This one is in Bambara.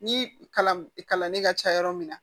Ni kalan kalan ne ka ca yɔrɔ min na